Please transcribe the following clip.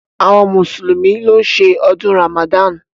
Awọn mùsùlùmí ló ṣe ọdún Ramadan.